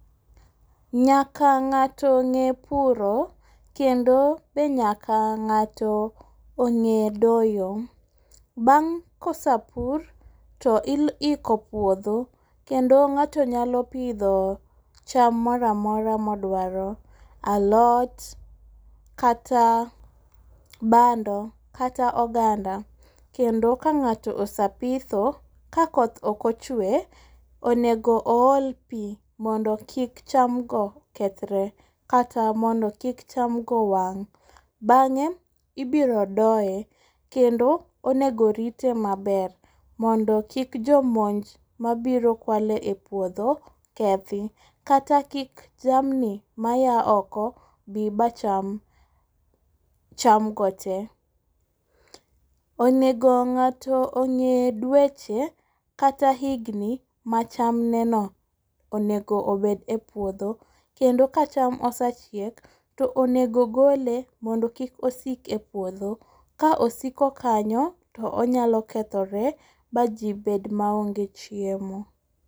Nyaka ng'ato ng'e puro kendo be nyaka ng'ato ong'e doyo. Bang' kose pur to i iko puodho kendo ng'ato nyalo pidho cham moro amora moduaro. Alot kata bando kata oganda kendo ka ng'ato ose pitho ka koth okochwe onego o ol pi mondo kik cham go kethre kata mondo kik cham go wang'. Bang'e ibiro doye kendo onego rite maber mondo kik jo monj mabiro kwalo e puodho kethi. Kata ki jamni maya oko bi ma cham cham go te. Onego ng'ato ong'e dweche kata higni ma cham ne no onego obed e puodho kendo ka cham osechiek to onego gole mondo kik osik e puodho. Ka osiko kanyo to onyalo kethore ma ji bed ma onge chiemo.